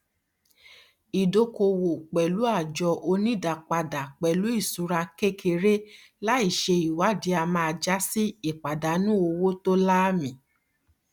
ìdókoòwò pẹlú àjọ onídáàpadàpẹlúìṣura kékeré láì ṣe ìwádìí a máa jásí ìpàdánù owó tó láàmì